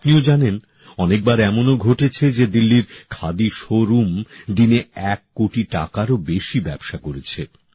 আপনিও জানেন অনেকবার এমনও ঘটেছে যে দিল্লির খাদি শোরুম দিনে এক কোটি টাকারও বেশি ব্যবসা করেছে